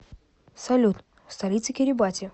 салют столица кирибати